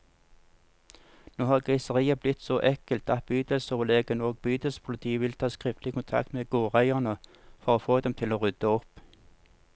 Nå har griseriet blitt så ekkelt at bydelsoverlegen og bydelspolitiet vil ta skriftlig kontakt med gårdeierne, for å få dem til å rydde opp.